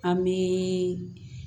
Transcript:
An bɛ